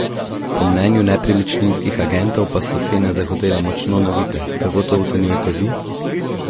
Po mnenju nepremičninskih agentov pa so cene za hotele močno navite, kako to ocenjujete vi?